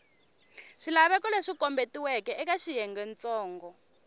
swilaveko leswi kombetiweke eka xiyengentsongo